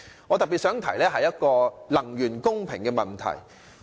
我特別想談談能源公平的問題。